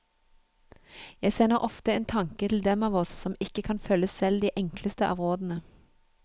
Jeg sender ofte en tanke til dem av oss som ikke kan følge selv de enkleste av rådene.